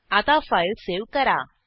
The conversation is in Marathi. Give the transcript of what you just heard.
आता फाईल सेव्ह करा